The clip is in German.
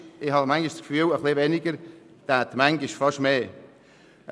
Ein bisschen weniger würde fast mehr bewirken.